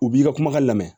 U b'i ka kumakan lamɛn